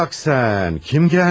Bax sən, kim gəlmiş?